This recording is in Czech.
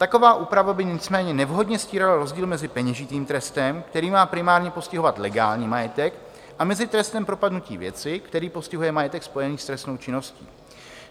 Taková úprava by nicméně nevhodně stírala rozdíl mezi peněžitým trestem, který má primárně postihovat legální majetek, a mezi trestem propadnutí věci, který postihuje majetek spojený s trestnou činností.